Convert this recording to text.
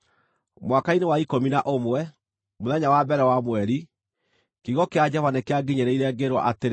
Mwaka-inĩ wa ikũmi na ũmwe, mũthenya wa mbere wa mweri, kiugo kĩa Jehova nĩkĩanginyĩrĩire, ngĩĩrwo atĩrĩ: